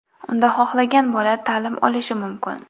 Unda xohlagan bola ta’lim olishi mumkin.